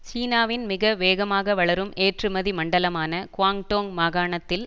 சீனாவின் மிக வேகமாக வளரும் ஏற்றுமதி மண்டலமான குவாங்டோங் மாகாணத்தில்